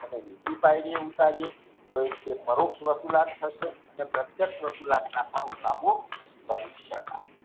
એને નીચે ફરીએ ઉતારિયે કોઈ રીતે પરોક્ષ વસુલાત થશે અને પ્રત્યેક્ષ વસુલાત કરી શકાય.